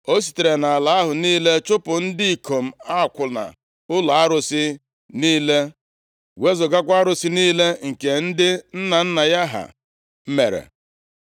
O sitere nʼala ahụ niile chụpụ ndị ikom akwụna ụlọ arụsị niile, wezugakwa arụsị niile nke ndị nna nna ya ha mere.